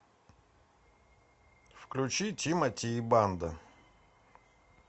включи тимати и банда